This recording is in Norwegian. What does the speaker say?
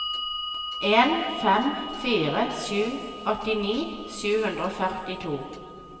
en fem fire sju åttini sju hundre og førtito